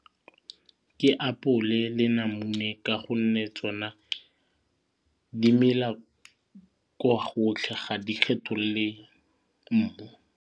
Ke apole le namune ka gonne tsona di mela kwa gotlhe ga di kgethol'le mmu.